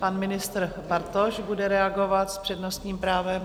Pan ministr Bartoš bude reagovat s přednostním právem.